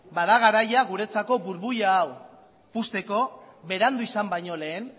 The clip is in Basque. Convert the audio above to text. bada garaia guretzako burbuila hau puzteko berandu izan baino lehen